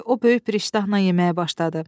O böyük bir iştahla yeməyə başladı.